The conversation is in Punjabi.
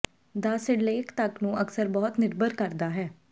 ਦਾ ਸਿਰਲੇਖ ਤੱਕ ਨੂੰ ਅਕਸਰ ਬਹੁਤ ਨਿਰਭਰ ਕਰਦਾ ਹੈ